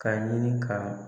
K'a ɲini ka